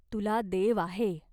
तुला देव आहे.